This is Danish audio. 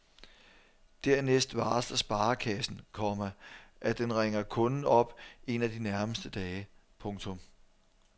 Dernæst varsler sparekassen, komma at den ringer kunden op en af de nærmeste dage. punktum